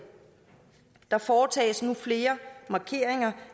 der foretages nu flere markeringer